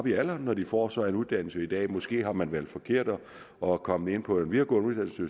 i alderen når de får sig en uddannelse i dag måske har man valgt forkert og er kommet ind på en videregående uddannelse